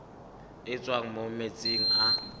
e tswang mo metsing a